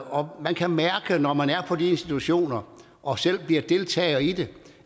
og man kan mærke når man er på de institutioner og selv deltager i det